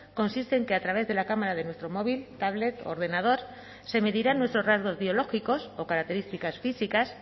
consiste en que a través de la cámara de nuestro móvil tablet ordenador se medirán nuestros rasgos biológicos o características físicas